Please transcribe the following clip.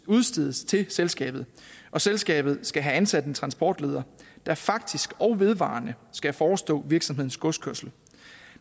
udstedes til selskabet og selskabet skal have ansat en transportleder der faktisk og vedvarende skal forestå virksomhedens godskørsel